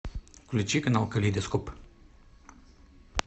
включи канал калейдоскоп